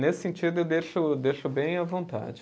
Nesse sentido, eu deixo, deixo bem à vontade.